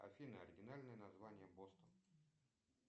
афина оригинальное название бостон